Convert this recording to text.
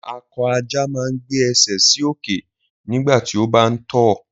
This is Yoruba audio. Akọ ajá máa ń gbé ẹsẹ̀ sí òkè nígbà tí ó bá ń tọ̀